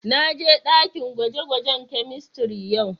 Na je dakin gwaje-gwajen chemistry yau.